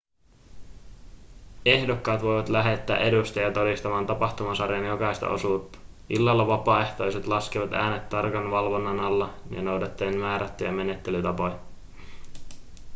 ehdokkaat voivat lähettää edustajia todistamaan tapahtumasarjan jokaista osuutta illalla vapaaehtoiset laskevat äänet tarkan valvonnan alla ja noudattaen määrättyjä menettelytapoja